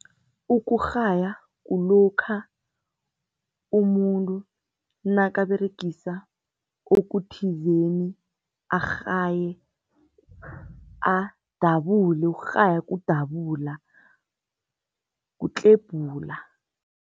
Ukurhaya kulokha umuntu nakaberegisa okuthizeni, arhaye, adabule, ukurhaya kudabula, kutlebhula.